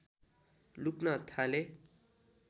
लुक्न थालेँ